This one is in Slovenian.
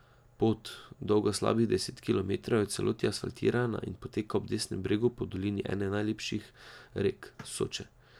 Pot, dolga slabih deset kilometrov, je v celoti asfaltirana in poteka ob desnem bregu po dolini ene naših najlepših rek, Soče.